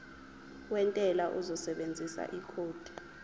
wentela uzosebenzisa ikhodi